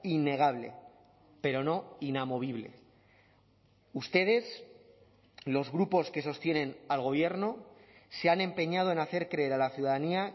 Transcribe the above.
innegable pero no inamovible ustedes los grupos que sostienen al gobierno se han empeñado en hacer creer a la ciudadanía